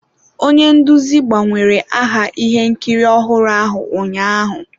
Onye nduzi gbanwere aha ihe nkiri ọhụrụ ahụ ụnyaahụ.